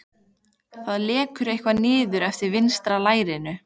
Það lekur eitthvað niður eftir vinstra lærinu.